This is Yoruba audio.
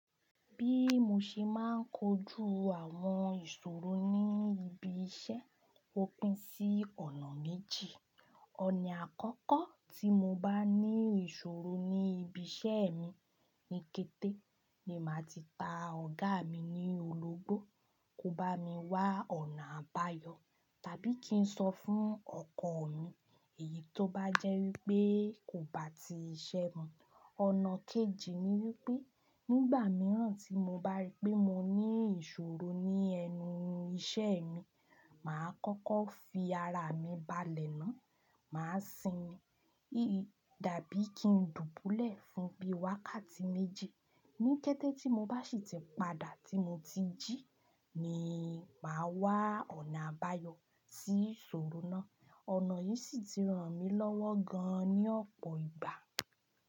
Bí mo ṣe máa ń kojú àwọn ìṣòro ní ibi iṣẹ́, ó pín sí ọ̀nà méjì. Ọ̀nà àkọ́kọ́ tí mo bá ní ìṣòro ní ibi iṣẹ́ mi ní kété, ni màá ti ta ọ̀gá mi ní ológbò, kó bá mi wá ọ̀nà àbáyọ, tàbí kí n sọ fún ọkọ̀ mi èyí tó bá jẹ́ wípé kò bá ti ṣẹ́ mọ. Ọ̀nà kejì ni wípé nígbà mìíràn tí mo bá rí pé mo ní ìṣòro ní ẹnu iṣẹ́ mi, màá kọ́kọ́ fi ara mi balẹ̀ náà, màá sinmi, dàbí kí n dùbúlẹ̀ fún bí wákàtí méjì. Ní kété tí mo bá sì tí padà tí mo ti jí, ni màá wá ọ̀nà àbáyọ sí ìṣòro náà. Ọ̀nà yìí sì ti ràn mí lọ́wọ́ gan-an ní ọ̀pọ̀ ìgbà.